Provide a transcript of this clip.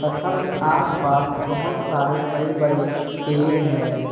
पत्थल के आसपास बहोत सारे बड़े बड़े पेड़ हैं।